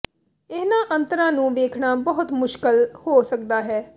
ਇਹਨਾਂ ਅੰਤਰਾਂ ਨੂੰ ਵੇਖਣਾ ਬਹੁਤ ਮੁਸ਼ਕਲ ਹੋ ਸਕਦਾ ਹੈ